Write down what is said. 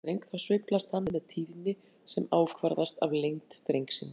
Þegar slegið er á gítarstreng þá sveiflast hann með tíðni sem ákvarðast af lengd strengsins.